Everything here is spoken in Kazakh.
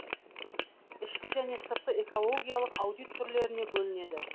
ішкі және сыртқы экологиялық аудит түрлеріне бөлінеді